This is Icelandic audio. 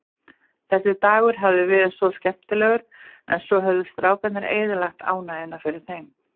Þessi dagur hafði verið svo skemmtilegur, en svo höfðu strákarnir eyðilagt ánægjuna fyrir þeim.